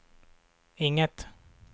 inget